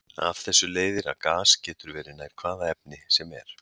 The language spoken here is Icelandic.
Af þessu leiðir að gas getur verið nær hvaða efni sem er.